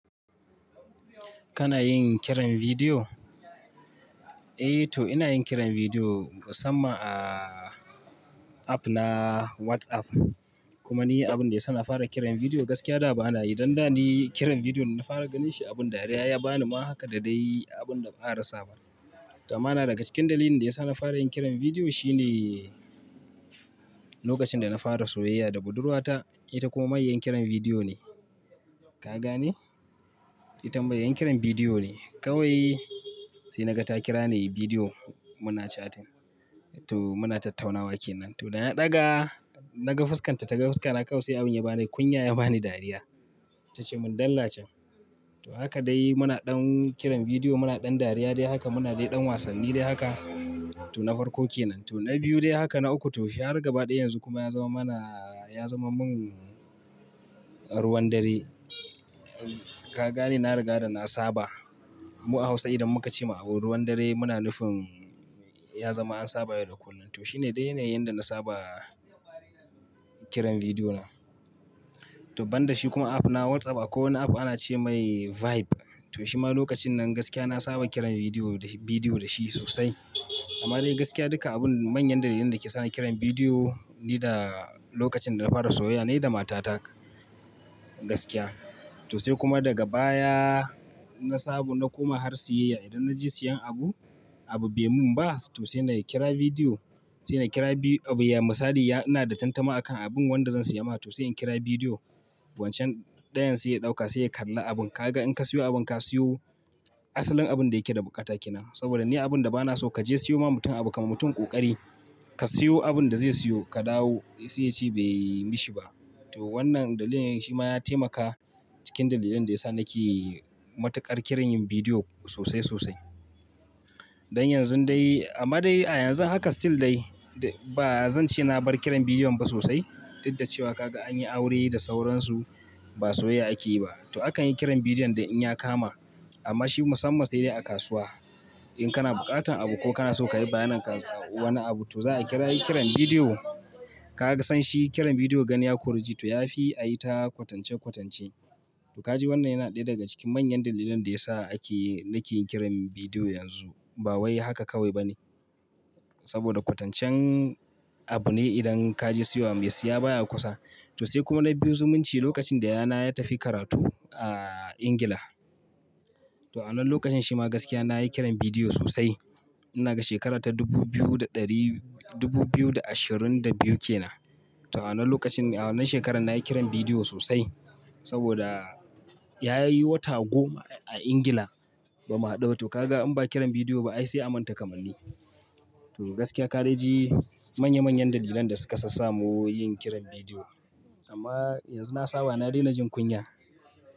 Kana yin kiran bidiyo? Eh to ina yin kiran bidiyo musamman a app na WhatsApp. Kuma ni abin da ya sa na fara kiran bidiyo gaskiya da ba na yi. Dan da ni kiran bidiyo na fara ganin shi abin dariya, ya ba ni ma haka da dai abin da ba a rasa ba. Amma na daga cikin dalilin da ya sa na fara yin kiran bidiyo shine lokacin da na fara soyayya da budurwata, ita kuma mai yan kiran bidiyo ne. Ka gane? I tan mai yan kiran bidiyo ne. Kawai sai na ga ta kira ni bidiyo muna chatting. To muna tattaunawa ke nan. To na ɗaga, na ga fuskan ta, ta ga fuska na. Kawai sai abin ya ba ni kunya, ya ba ni dariya. Ta ce mun "dalla can." To haka dai muna ɗan kiran bidiyo, muna ɗan dariya dai haka, muna dai ɗan wasanni dai haka. To na farko ke nan. To na biyu dai haka, na uku. To sai har gaba ɗaya yanzu kuma ya zama mana, ya zama mun ruwan dare. Ka gane? Na riga da na saba. Mu a Hausa idan muka ce ma abu ruwan dare, muna nufin ya zama an saba yau da kullum. To shi ne dai ne yanda na saba kiran bidiyo na. To ban da shi kuma app na WhatsApp akwai wani app ana ce mai Vibe. To shi ma lokacin nan gaskiya na saba kiran bidiyo da shi sosai. Amma dai gaskiya duka abun manyan dalilan da ke sa na kiran bidiyo ne da lokacin da na fara soyayya ne da mata ta gaskiya. To sai kuma daga baya na sabu na koma har siyayya. Idan na je siyan abu, abu bai mun ba to sai na kira bidiyo. Sai na kira bidiyo abu misali ya. Ina da tantama akan abin wanda zan siya ma ta. To sai in kira bidiyo wancan ɗayan sai ya ɗauka, sai ya kalla abun. Ka ga in ka siyo abun ka siyo asalin abun da yake da buƙata ke nan. Saboda ni abin da ba na so ka je siyo ma mutum abu ka ma mutum ƙoƙari. Ka siyo abun da zai siyo ka dawo sai ya ce bai yi mishi ba. To wannan dalilin shi ma ya taimaka cikin dalilan da ya sa na ke matuƙar kiran yin bidiyo sosai sosai. Don yanzu dai amma dai a yanzu haka still dai ba zan ce na bar kiran bidiyon ba sosai. Duk da cewa ka ga an yi aure da sauransu, ba soyayya ake yi ba. To akan yi kiran bidiyon da in ya kama. Amma shi musammas sai dai a kasuwa. In kana buƙatan abu ko kana so ka yi bayanai kan wani abu to za a kira yi kiran bidiyo. Ka ga san shi kiran bidiyo ganin ya koriji to ya fi ayi ta kwatance kwatance. To ka ji wannan yana ɗaya daga cikin manyan dalilan da ya sa ake, na ke yin kiran bidiyo yanzu. Ba wai haka kawai ba ne. Saboda kwatancen abu ne idan ka je siyo wa mai siya baya kusa. To sai kuma na biyu zumunci lokacin da yayana ya tafi karatu a Ingila. To a wannan lokacin shi ma gaskiya na yi kiran bidiyo sosai. Ina ga shekara ta dubu biyu da ɗari, dubu biyu da ashirin da biyu ke nan. To a wannan lokacin, a wannan shekarar na yi kiran bidiyo sosai. Saboda ya yi wata goma a Ingila ba mu haɗu ba. To ka ga in ba kiran bidiyo ba ai sai a manta kamanni. To gaskiya ka dai ji manya manyan dalilan da suka sassamu yin kiran bidiyo. Amma yanzu na saba, na daina jin kunya.